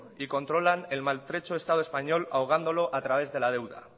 y controlan el maltrecho estado español ahogándolo a través de la deuda